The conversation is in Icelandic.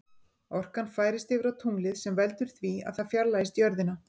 Orkan færist yfir á tunglið sem veldur því að það fjarlægist jörðina.